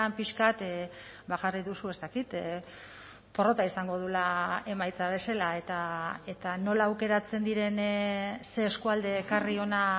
pixka bat jarri duzu ez dakit porrota izango duela emaitza bezala eta nola aukeratzen diren ze eskualde ekarri hona